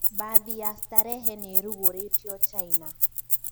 Bathi ya sterehe niirugũrĩtio China.